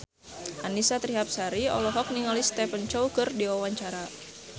Annisa Trihapsari olohok ningali Stephen Chow keur diwawancara